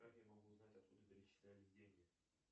как я могу узнать откуда перечислялись деньги